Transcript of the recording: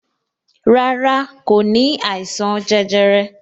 Rárá, kò ní àìsàn jẹjẹrẹ